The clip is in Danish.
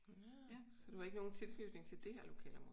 Nå. Så du har ikke nogen tilknytning til det her lokalområde?